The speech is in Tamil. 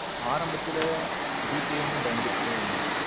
ஆரம்பத்துல G pay யும் பயந்துட்டு தான் இருந்தாங்க.